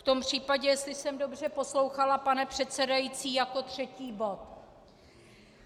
V tom případě, jestli jsem dobře poslouchala, pane předsedající, jako třetí bod.